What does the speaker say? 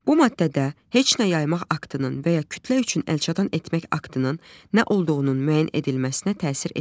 Bu maddədə heç nə yaymaq aktının və ya kütlə üçün əlçatan etmək aktının nə olduğunun müəyyən edilməsinə təsir etmir.